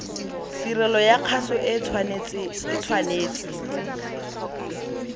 tirelo ya kgaso o tshwanetse